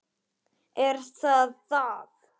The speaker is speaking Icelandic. Er það það?